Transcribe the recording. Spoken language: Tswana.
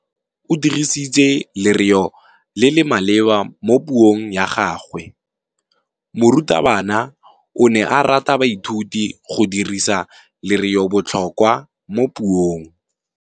O dirisitse lerêo le le maleba mo puông ya gagwe. Morutabana o ne a ruta baithuti go dirisa lêrêôbotlhôkwa mo puong.